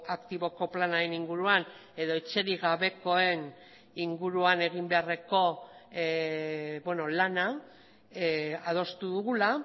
aktiboko planaren inguruan edo etxerik gabekoen inguruan egin beharreko lana adostu dugula